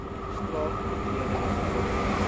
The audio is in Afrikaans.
straat betreding dobbel